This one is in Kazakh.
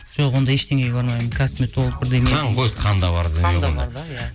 жоқ ондай ештеңеге бармаймын косметолог бірдеңе қан ғой қанда бар қанда бар да иә